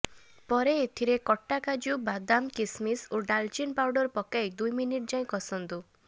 ପରେ ଏଥିରେ କଟା କାଜୁ ବାଦାମ କିସ୍ମିସ୍ ଓ ଡାଲଚିନି ପାଉଡ ପକାଇ ଦୁଇ ମିନିଟ ଯାଏଁ କଷନ୍ତୁ